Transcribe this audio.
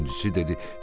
İkincisi dedi: